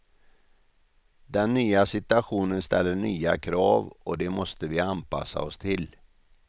Den nya situationen ställer nya krav och de måste vi anpassa oss till.